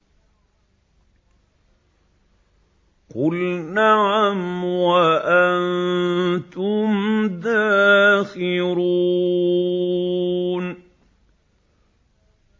قُلْ نَعَمْ وَأَنتُمْ دَاخِرُونَ